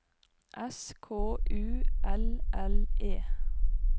S K U L L E